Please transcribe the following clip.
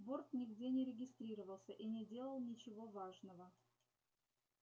борт нигде не регистрировался и не делал ничего важного